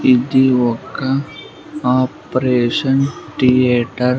ఇది ఒక operation theatre .